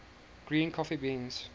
green coffee beans